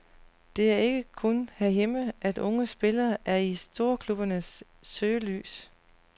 Det er ikke kun herhjemme, at unge spillere er i storklubbernes søgelys.